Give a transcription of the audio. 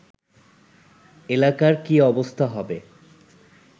এলাকার কী অবস্থা হবে